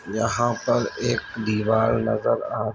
यहाँ पर एक दीवार नजर आ --